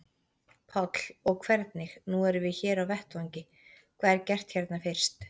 Páll: Og hvernig, nú erum við hér á vettvangi, hvað er gert hérna fyrst?